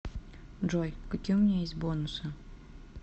джой какие у меня есть бонусы